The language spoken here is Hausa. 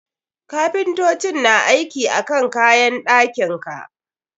Kapintocin na aiki akan kayan ɗakin ka.